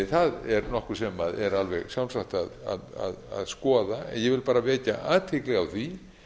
það er nokkuð sem er alveg sjálfsagt að skoða en ég vil bara vekja athygli á því